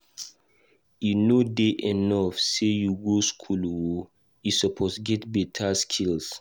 E no dey enough sey you go school o, e suppose get beta skill.